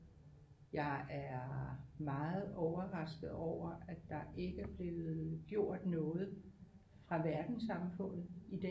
Jeg er meget overrasket over at der ikke er blevet gjort noget fra verdenssamfundet i den